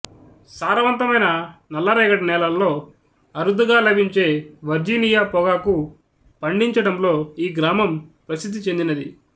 సారవంతమైన నల్లరేగడి నేలల్లో అరుదుగా లభించే వర్జీనియా పొగాకు పండిచడంలో ఈ గ్రామం ప్రసిద్ధి చెందినది